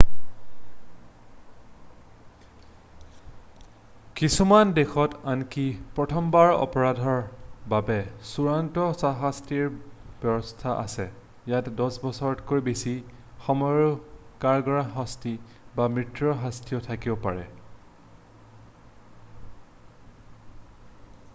কিছুমান দেশত আনকি প্ৰথমবাৰৰ অপৰাধৰ বাবেও চূড়ান্ত শাস্তিৰ ব্যৱস্থা আছে ইয়াত 10 বছৰতকৈ বেছি সময়ৰ কাৰাগাৰৰ শাস্তি বা মৃত্যুৰ শাস্তিও থাকিব পাৰে